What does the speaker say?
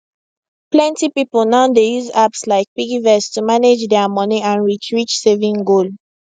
plenty people now dey use apps like piggyvest to manage dia money and reach reach saving goal